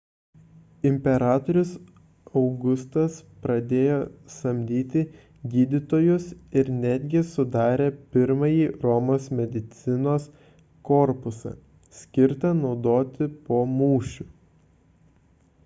imperatorius augustas pradėjo samdyti gydytojus ir netgi sudarė pirmąjį romos medicinos korpusą skirtą naudoti po mūšių